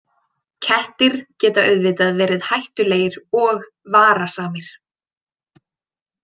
Kettir geta auðvitað verið hættulegir og varasamir.